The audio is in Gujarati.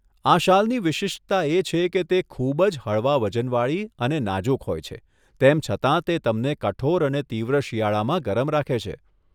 આ શાલની વિશિષ્ટતા એ છે કે તે ખૂબ જ હળવા વજનવાળી અને નાજુક હોય છે, તેમ છતાં તે તમને કઠોર અને તીવ્ર શિયાળામાં ગરમ રાખે છે.